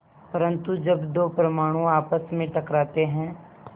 परन्तु जब दो परमाणु आपस में टकराते हैं